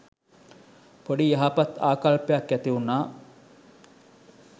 පොඩි යහපත් ආකල්පයක් ඇති වුනා.